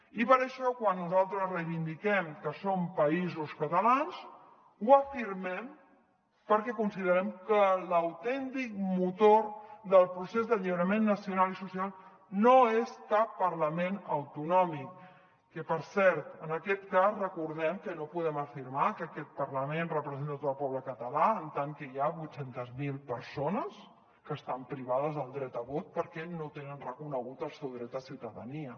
i per això quan nosaltres reivindiquem que som països catalans ho afirmem perquè considerem que l’autèntic motor del procés d’alliberament nacional i social no és cap parlament autonòmic que per cert en aquest cas recordem que no podem afirmar que aquest parlament representa tot el poble català en tant que hi ha vuit cents miler persones que estan privades del dret a vot perquè no tenen reconegut el seu dret de ciutadania